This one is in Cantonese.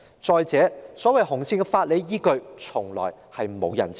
再者，所謂"紅線"的法理依據，從來沒有人知道。